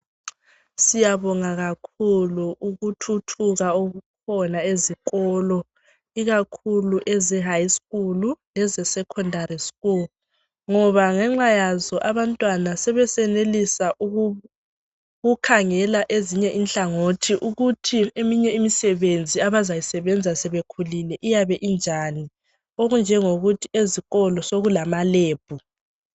siyabonga kakhulu ukuthuthuka okukhona ezikolo ikakhulu eze high school eze secondary school ngoba ngenxayazo abantwana sebesenelisa ukukhangela ezinye inhlangothi ukuthi eminye imisebenzi abazayisebenza sebekhulile iyabe injani okunjengokuthi ezikolo sekulamalebhu